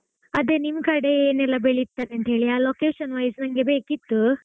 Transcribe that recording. ಅದೆ ನಿಮ್ಕಡೆ ಏನೆಲ್ಲಾ ಬೆಳೀತಾರೆಂತ ಹೇಳಿ ಆ location wise ನಂಗೆ ಬೇಕಿತ್ತು.